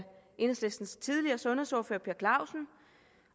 enhedslistens tidligere sundhedsordfører herre per clausen